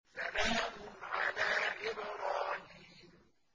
سَلَامٌ عَلَىٰ إِبْرَاهِيمَ